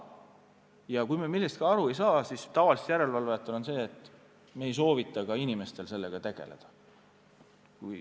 Ja kui me millestki aru ei saa, siis tavaliselt järelevalvajad ei soovita inimestel sellega tegeleda.